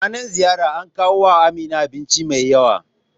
Ranar ziyar an kawo wa Amina abinci mai yawa